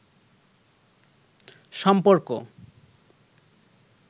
সম্পর্ক